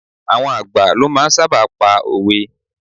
Àwọn àgbà ló máa ń sábà pa òwe.